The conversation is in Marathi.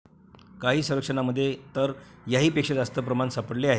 काही सर्वेक्षणांमध्ये तर याहीपेक्षा जास्त प्रमाण सापडले आहे.